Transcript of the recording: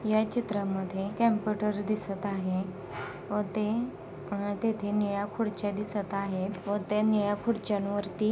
या चित्रा मध्ये कॉम्पुटर दिसत आहे व ते अ तेथे निळ्या खुर्च्या दिसत आहेत व ते निळ्या खुर्च्यांवरती--